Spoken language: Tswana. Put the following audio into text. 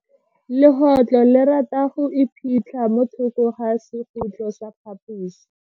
Legotlo le rata go iphitlha mo thoko ga sekhutlo sa phaposi.